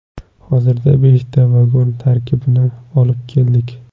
Hozirda beshta vagon tarkibini olib keldik.